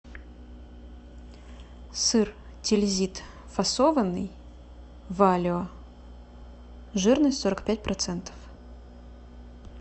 сыр тильзит фасованный валио жирность сорок пять процентов